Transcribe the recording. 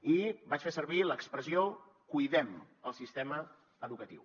i vaig fer servir l’expressió cuidem el sistema educatiu